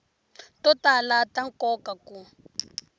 to tala ta nkoka ku